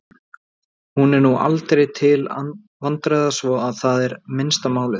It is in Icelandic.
Hún er nú aldrei til vandræða svo að það er minnsta málið.